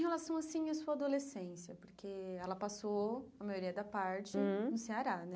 Em relação, assim, à sua adolescência, porque ela passou a maioria da parte Hum no Ceará, né?